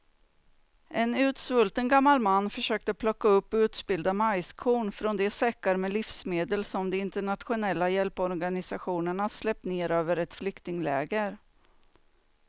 En utsvulten gammal man försöker plocka upp utspillda majskorn från de säckar med livsmedel som de internationella hjälporganisationerna släppt ner över ett flyktingläger.